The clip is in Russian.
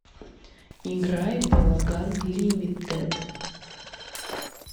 играй балаган лимитед